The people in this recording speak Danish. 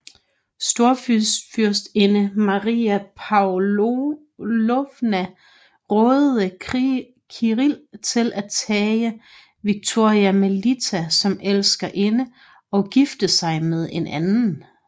Storfyrstinde Maria Pavlovna rådede Kirill til at tage Victoria Melita som elskerinde og gifte sig med en anden